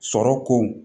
Sɔrɔ kow